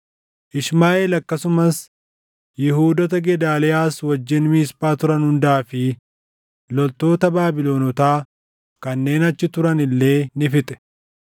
Ishmaaʼeel akkasumas Yihuudoota Gedaaliyaas wajjin Miisphaa turan hundaa fi loltoota Baabilonotaa kanneen achi turan illee ni fixe.